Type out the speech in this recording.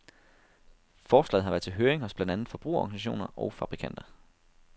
Forslaget har været til høring hos blandt andet forbrugerorganisationer og fabrikanter.